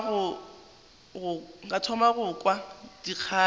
ka thoma go kwa dikgato